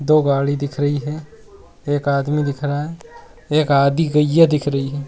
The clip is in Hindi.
दो गाड़ी दिख रही है एक आदमी दिख रहा है एक आधी गईया दिख रही है।